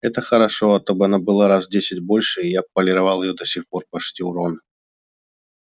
это хорошо а то б она была раз в десять больше и я бы полировал её до сих пор пошутил рон